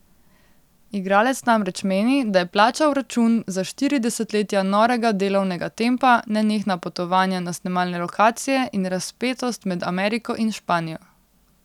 Igralec namreč meni, da je plačal račun za štiri desetletja norega delovnega tempa, nenehna potovanja na snemalne lokacije in razpetost med Ameriko in Španijo.